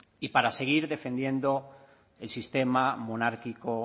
y para seguir defendiendo el sistema monárquico